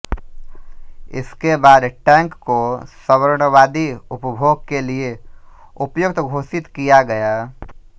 इसके बाद टैंक को सवर्णवादी उपभोग के लिए उपयुक्त घोषित किया गया